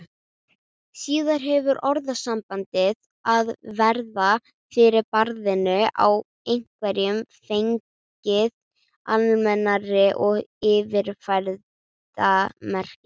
Síðar hefur orðasambandið að verða fyrir barðinu á einhverjum fengið almennari og yfirfærða merkingu.